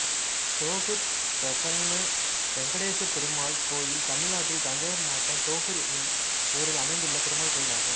தோகூர் பிரசன்ன வெங்கடேசபெருமாள் கோயில் தமிழ்நாட்டில் தஞ்சாவூர் மாவட்டம் தோகூர் என்னும் ஊரில் அமைந்துள்ள பெருமாள் கோயிலாகும்